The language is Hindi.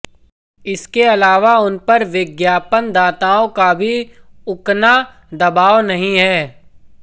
इसके अलावा उन पर विज्ञापनदाताओं का भी उकना दबाव नहीं है